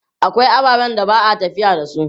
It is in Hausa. Akwai ababen da ba a tafiya da su.